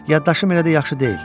Yaddaşım elə də yaxşı deyil.